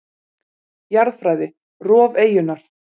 Jarðfræði: Rof eyjunnar.